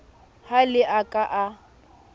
ha le a ka la